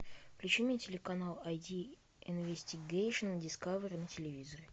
включи мне телеканал ай ди инвестигейшен дискавери на телевизоре